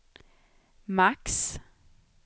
max